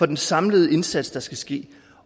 den samlede indsats der skal ske